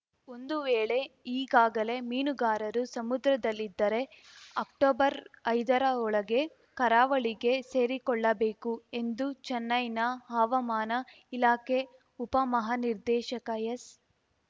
ಒಂದು ವೇಳೆ ಈಗಾಗಲೇ ಮೀನುಗಾರರು ಸಮುದ್ರದಲ್ಲಿದ್ದರೆ ಅಕ್ಟೊಬರ್ಐದರ ಒಳಗೆ ಕರಾವಳಿಗೆ ಸೇರಿಕೊಳ್ಳಬೇಕು ಎಂದು ಚೆನ್ನೈನ ಹವಾಮಾನ ಇಲಾಖೆ ಉಪಮಹಾನಿರ್ದೇಶಕ ಎಸ್‌